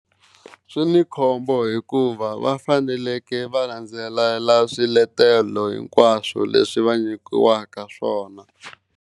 Swi ni khombo hikuva va faneleke va landzelela swiletelo hinkwaswo leswi va nyikiwaka swona.